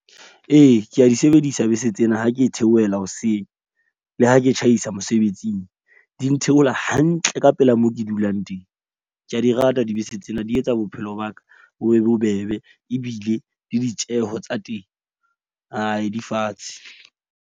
Ee, ke a di sebedisa bese tsena ha ke theohela hoseng le ha ke tjhaisa mosebetsing. Di ntheola hantle ka pela mo ke dulang teng. Ke a di rata dibese tsena, di etsa bophelo ba ka bo be bobebe. Ebile le ditjeho tsa teng di fatshe.